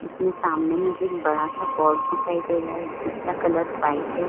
इसमें सामने मुझे एक बड़ा सा बोर्ड दिखाई दे रहा हैं जिसका कलर वाइट है।